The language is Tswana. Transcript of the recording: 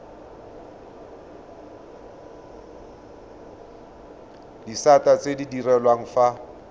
disata tse di direlwang fa